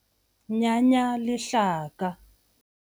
Nyanya lehlaka.